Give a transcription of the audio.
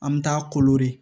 An bɛ taa koroderi